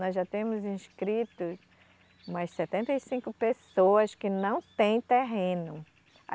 Nós já temos inscritos umas setenta e cinco pessoas que não têm terreno.